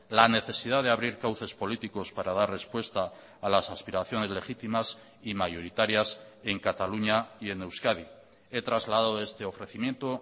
la necesidad de abrir cauces políticos para dar respuesta a las aspiraciones legítimas y mayoritarias en cataluña y en euskadi he trasladado este ofrecimiento